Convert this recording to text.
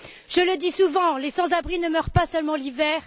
Je le dis souvent les sans abris ne meurent pas seulement l'hiver.